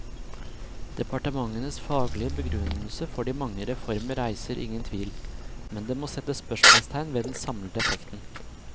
Departementenes faglige begrunnelse for de mange reformene reiser ingen tvil, men det må settes spørsmålstegn ved den samlede effekten.